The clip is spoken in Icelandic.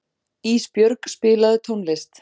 Ísbjörg, spilaðu tónlist.